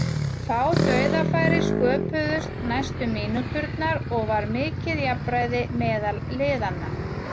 Fá dauðafæri sköpuðust næstu mínúturnar og var mikið jafnræði meðal liðanna.